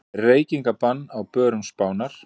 Reykingabann á börum Spánar